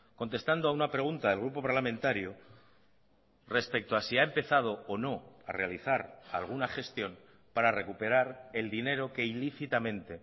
contestando a una pregunta del grupo parlamentario respecto a si ha empezado o no a realizar alguna gestión para recuperar el dinero que ilícitamente